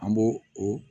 An b'o o